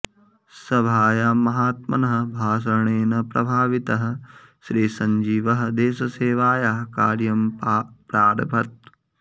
सभायां महात्मनः भाषणेन प्रभावितः श्रीसञ्जीवः देशसेवायाः कार्यं प्रारभत